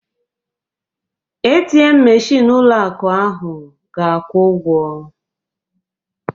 ATM meshịn ụlọ akụ ahụ ga-akwụ ụgwọ